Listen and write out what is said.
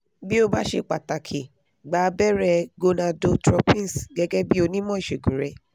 bí ó bá ṣe pàtàkì gba abẹrẹ gonadotropins gẹ́gẹ́ bí onímọ̀ ìṣègùn rẹ